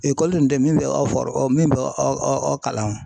Ekɔli tun tɛ ye min bɛ aw fɔru min bɛ aw aw aw kalan.